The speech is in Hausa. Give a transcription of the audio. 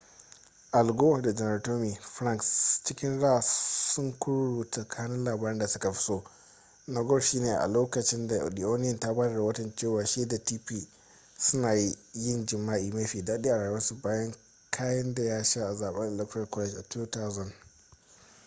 al gore da janar tommy franks cikin raha sun kururuta kanun labaran da suka fi so na gore shi ne a lokacin da the onion ta ba da rahoton cewa shi da tipper suna yin jima’i ma fi daɗi a rayuwarsu bayan kayen da ya sha a zaben electoral college a 2000